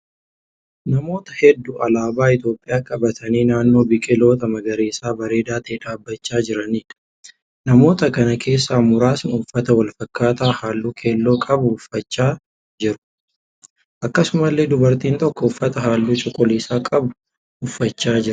Namoota hedduu alaabaa Itiyoopiyaa qabatanii naannoo biqiloota magariisa bareeda ta'e dhaabbachaa jiraniidha. Namoota kana keessaa muraasni uffata wal fakkaaataa halluu keelloo qabu uffachaa jiru. Akkasumallee dubartiin tokko uffata halluu cuquliisa qabu uffachaa jirti.